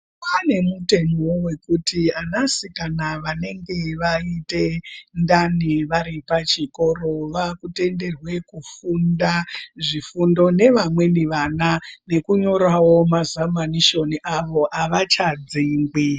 Kwanevo mutemo wekuti anasikana vanenge vaita ndani vari pachikoro vakutenderwe kufunda zvifundo nevamweni vana, nekunyorawo mazamanishoni avo havachadzingwi.